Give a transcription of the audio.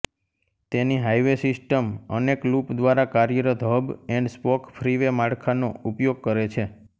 તેની highway system અનેક loop દ્વારા કાર્યરત હબ એન્ડ સ્પોક ફ્રીવે માળખાનો ઉપયોગ કરે છે